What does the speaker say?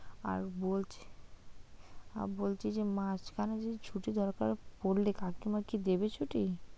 আর বলছি, আর বলছি যে মাঝখানে যদি ছুটি দরকার পড়লে কাকিমা কি দেবে ছুটি?